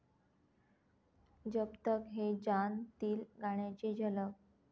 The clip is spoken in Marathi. जब तक है जान'तील गाण्याची झलक